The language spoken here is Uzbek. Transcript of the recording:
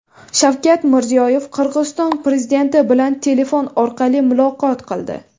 Shavkat Mirziyoyev Qirg‘iziston prezidenti bilan telefon orqali muloqot qildi.